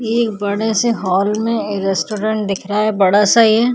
ये एक बड़े से हॉल में एक रेस्टोरेंट दिख रहा है बड़ा सा ये --